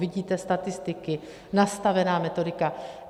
Vidíte statistiky, nastavená metodika.